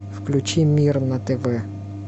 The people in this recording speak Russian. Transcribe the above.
включи мир на тв